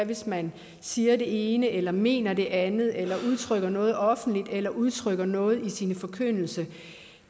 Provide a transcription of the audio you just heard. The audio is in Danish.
hvis man siger det ene eller mener det andet eller udtrykker noget offentligt eller udtrykker noget i sin forkyndelse